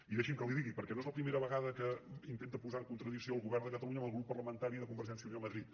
i deixi’m que li ho digui perquè no és la primera vegada que intenta posar en contradicció el govern de catalunya amb el grup parlamentari de convergència i unió a madrid